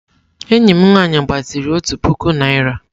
Enyi m nwaanyị gbaziri òtù puku naịra.